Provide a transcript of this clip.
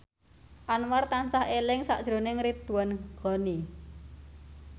Anwar tansah eling sakjroning Ridwan Ghani